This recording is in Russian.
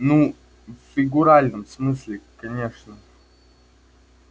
ну в фигуральном смысле конечно